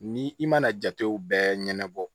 Ni i mana jatew bɛɛ ɲɛnabɔ